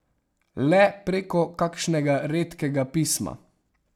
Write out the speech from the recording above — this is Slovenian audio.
Le preko kakšnega redkega pisma.